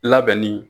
Labɛnni